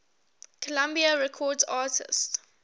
columbia records artists